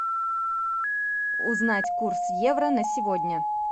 узнать курс евро на сегодня